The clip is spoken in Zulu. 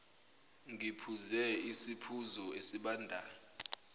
ngiphuze isiphuzo esibandayo